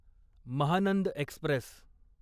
Mahanand Express